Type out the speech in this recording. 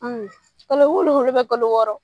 Un kalo wolonwula kalo wɔɔrɔ